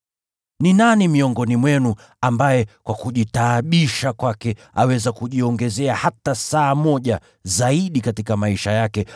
Ni nani miongoni mwenu ambaye kwa kujitaabisha kwake anaweza kujiongezea hata saa moja zaidi katika maisha yake?